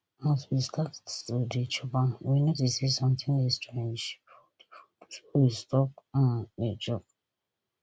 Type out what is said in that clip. as we start to dey chop am we notice say sometin dey strange for di food so we stop um dey chop